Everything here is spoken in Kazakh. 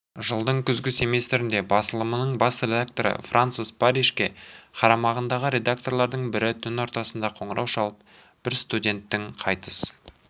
жылдың күзгі семестрінде басылымының бас редакторы франсес парришке қарамағындағы редакторлардың бірі түн ортасында қоңырау шалып бір студенттің қайтыс